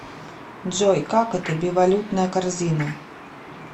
джой как это бивалютная корзина